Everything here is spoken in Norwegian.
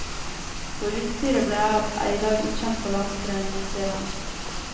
Hvor utstyret ble av, er i dag ukjent for landsforeningen, sier han.